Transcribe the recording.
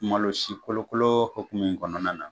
Malo si kolokolo hukumu kɔnɔna na.